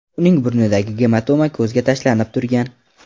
Uning burnidagi gematoma ko‘zga tashlanib turgan.